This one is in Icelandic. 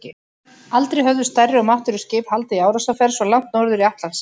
Aldrei höfðu stærri og máttugri skip haldið í árásarferð svo langt norður í Atlantshaf.